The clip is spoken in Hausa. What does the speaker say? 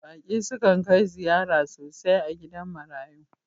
Baki su can kai ziyara sosai a gidan marayu.